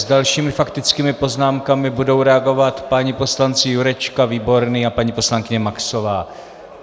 S dalšími faktickými poznámkami budou reagovat páni poslanci Jurečka, Výborný a paní poslankyně Maxová.